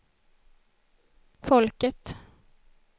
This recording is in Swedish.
folket